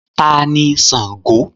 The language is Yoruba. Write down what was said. Who is Sàngo?